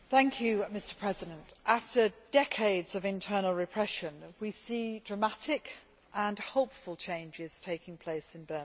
Mr President, after decades of internal repression, we see dramatic and hopeful changes taking place in Burma.